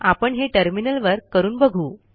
आपण हे टर्मिनलवर करून बघू